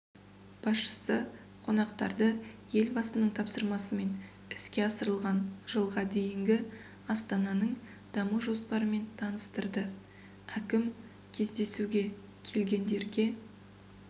басшысы қонақтарды елбасының тапсырмасымен іске асырылған жылға дейінгі астананың даму жоспарымен таныстырды әкім кездесуге келгендерге